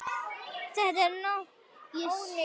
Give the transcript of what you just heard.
Þetta er ónýtt.